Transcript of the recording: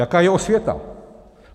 Jaká je osvěta?